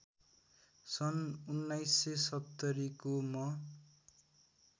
सन् १९७० को म